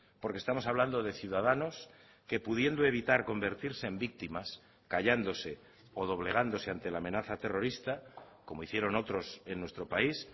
porque estamos hablando de ciudadanos que pudiendo evitar convertirse en víctimas callándose o doblegándose ante la amenaza terrorista como hicieron otros en nuestro país